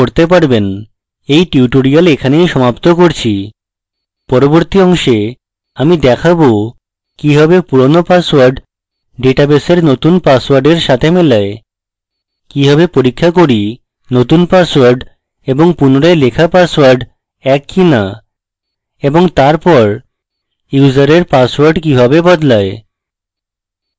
in tutorial এখানেই সমাপ্ত করছি পরবর্তী অংশে আমি দেখাবো কিভাবে পুরানো পাসওয়ার্ড ডেটাবেসের নতুন পাসওয়ার্ডের সাথে মেলায় কিভাবে পরীক্ষা করি নতুন পাসওয়ার্ড এবং পুনরায় লেখা পাসওয়ার্ড in কিনা এবং তারপর ইউসারের পাসওয়ার্ড কিভাবে বদলায়